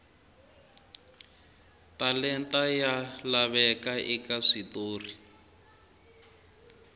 talenta ya laveka eka switori